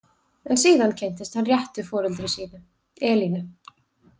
En síðan kynntist hann réttu foreldri sínu, Elínu.